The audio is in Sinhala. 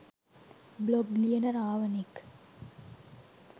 බ්ලොග් ලියන රාවනෙක්